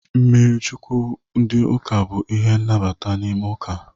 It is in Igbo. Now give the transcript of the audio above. Mmiri Chukwu ndị ụka bụ ihe nnabata n'ime ụka.